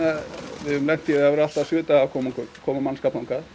við höfum lent í því að vera allt að sjö daga að koma koma koma mannskap þangað